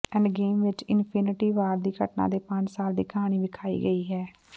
Endgame ਵਿੱਚ Infinity War ਦੀ ਘਟਨਾ ਦੇ ਪੰਜ ਸਾਲ ਦੀ ਕਹਾਣੀ ਵਿਖਾਈ ਗਈ ਹੈ